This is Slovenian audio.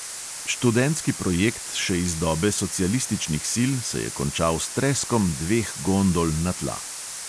Študentski projekt še iz dobe socialističnih sil se je končal s treskom dveh gondol na tla.